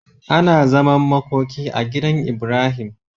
Ana zaman makoki a gidan Ibrahim